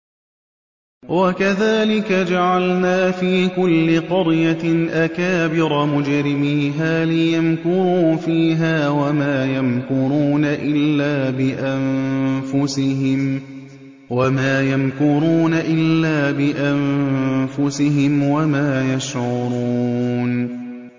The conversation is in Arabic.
وَكَذَٰلِكَ جَعَلْنَا فِي كُلِّ قَرْيَةٍ أَكَابِرَ مُجْرِمِيهَا لِيَمْكُرُوا فِيهَا ۖ وَمَا يَمْكُرُونَ إِلَّا بِأَنفُسِهِمْ وَمَا يَشْعُرُونَ